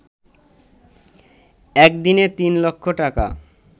একদিনে তিন লক্ষ টাকা